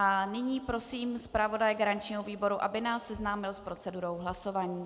A nyní prosím zpravodaje garančního výboru, aby nás seznámil s procedurou hlasování.